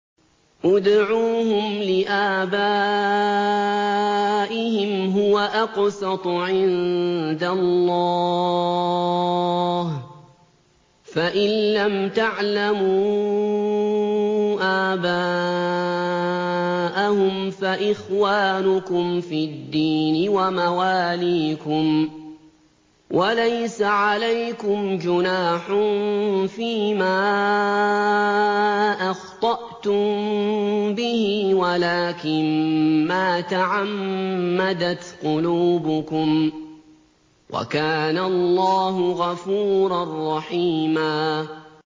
ادْعُوهُمْ لِآبَائِهِمْ هُوَ أَقْسَطُ عِندَ اللَّهِ ۚ فَإِن لَّمْ تَعْلَمُوا آبَاءَهُمْ فَإِخْوَانُكُمْ فِي الدِّينِ وَمَوَالِيكُمْ ۚ وَلَيْسَ عَلَيْكُمْ جُنَاحٌ فِيمَا أَخْطَأْتُم بِهِ وَلَٰكِن مَّا تَعَمَّدَتْ قُلُوبُكُمْ ۚ وَكَانَ اللَّهُ غَفُورًا رَّحِيمًا